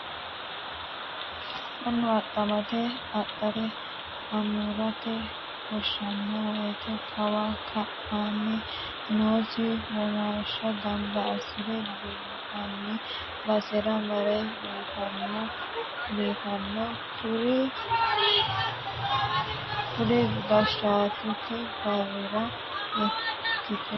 Mannu adhamate adhate amurate wonshano woyte kawi kainni noosi womashsha gamba assire biinfani basera marre biifano, xa kuri goshattote barrira ikkite biifino garati.